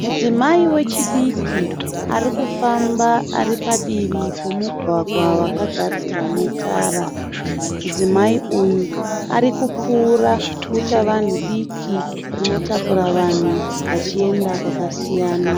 Mudzimai wechidiki ari kufamba ari padivi pemugwagwa wakagadzirwa netara. Mudzimai uyu ari kupfuura dutavanhu diki rinotakura vanhu vachienda kwakasiyana.